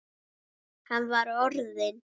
Hann var orðinn.